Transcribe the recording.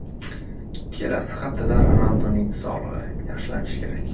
Kelasi haftada Ronalduning sog‘lig‘i yaxshilanishi kerak.